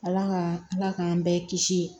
Ala ka ala k'an bɛɛ kisi